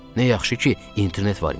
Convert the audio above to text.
Nə yaxşı ki, internet var imiş.